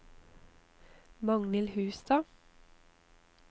Magnhild Hustad